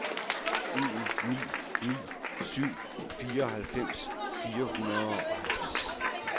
en ni ni syv fireoghalvfems fire hundrede og halvtreds